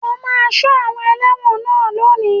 O máa Sọ àwọn elẹ́wọ̀n náà lónìí.